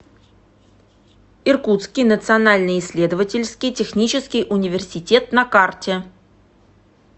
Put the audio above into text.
иркутский национальный исследовательский технический университет на карте